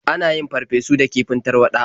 An yin farfesu da kifin tarwaɗa.